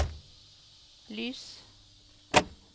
lys